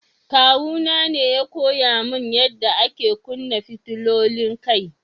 Kawu na ne ya koya mun yada ake kunna fitilolin kai.